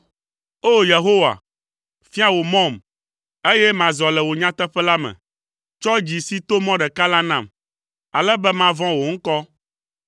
O! Yehowa, fia wò mɔm, eye mazɔ le wò nyateƒe la me; tsɔ dzi si to mɔ ɖeka la nam, ale be mavɔ̃ wò ŋkɔ.